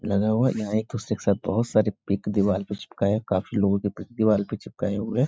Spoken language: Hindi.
लगा हुआ है यहाँ एक दूसरे के साथ बहुत सारे पिक दीवार पे चिपकाए काफी लोगो के पिक दीवार पे चिपकाए हुए हैं।